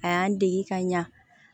A y'an dege ka ɲa